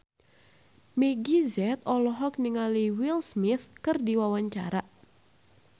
Meggie Z olohok ningali Will Smith keur diwawancara